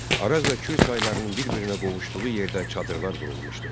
Araz və Kür çaylarının bir-birinə qovuşduğu yerdə çadırlar qurulmuşdu.